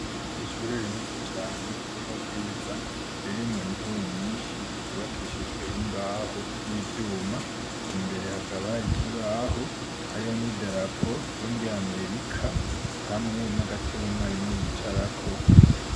Ishure rinini cane ryo mu Bwiza ririmwo intebe nyinshi zubakishijwe imbaho n'ivyuma, imbere hakaba hari ikibaho, hariho n'idarapo ryo muri amerika hamwe n'agatebe umwarimu yicarako.